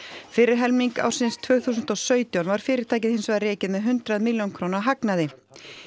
fyrri helming ársins tvö þúsund og sautján var fyrirtækið hins vegar rekið með hundrað milljóna króna hagnaði